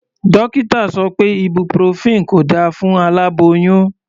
Dókítà sọ pé ibuprofen kò da fún aláboyún.